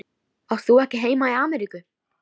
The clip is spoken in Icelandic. Átt þú ekki heima í Ameríku?